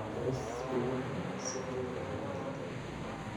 Tos ibu nee citrullinemia type I?